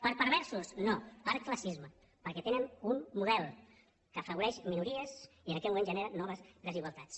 per perversos no per classisme perquè tenen un model que afavoreix minories i en aquest moment genera noves desigualtats